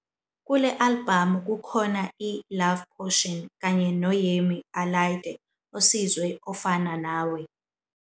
Kule albhamu kukhona i- "Love Potion" kanye no-Yemi Alade osizwe "Ofana Nawe".